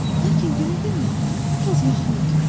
Lakin günü-gündən biraz yaxın otur.